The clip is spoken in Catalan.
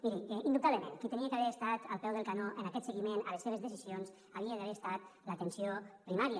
miri indubtablement qui havia d’haver estat al peu del canó en aquest seguiment a les seves decisions havia d’haver estat l’atenció primària